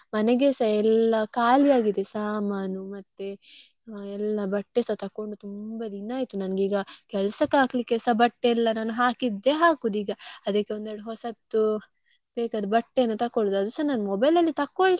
ಆಗಿದೆ ಸಾಮಾನು ಮತ್ತೆ ಎಲ್ಲಾ ಬಟ್ಟೆಸ ತೊಕ್ಕೊಂಡು ತುಂಬಾ ದಿನ ಆಯ್ತು ನಂಗೀಗ ಕೆಲ್ಸಕ್ಕೆ ಹಾಕ್ಲಿಕ್ಕೆಸ ಬಟ್ಟೆ ಇಲ್ಲ, ನನ್ ಹಾಕಿದ್ದೆ ಹಾಕುದು ಈಗ ಅದಕ್ಕೆ ಒಂದ್ ಎರಡ್ ಹೊಸತ್ತು ಬೇಕಾದ ಬಟ್ಟೆಯನ್ನು ತಕೊಳ್ಳುದು. ಅದುಸ ನನ್ನ mobile.